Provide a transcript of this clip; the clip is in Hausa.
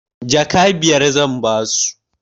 Jaka biyar zan ba su.